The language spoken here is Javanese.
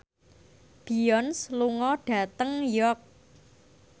Beyonce lunga dhateng York